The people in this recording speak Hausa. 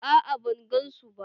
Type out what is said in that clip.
A'a ban gan su ba.